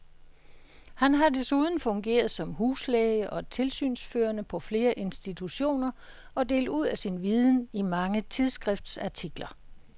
Han har desuden fungeret som huslæge og tilsynsførende på flere institutioner og delt ud af sin viden i mange tidsskriftsartikler.